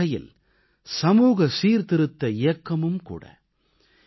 இது ஒருவகையில் சமூக சீர்திருத்த இயக்கமும் கூட